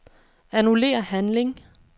Annullér handling.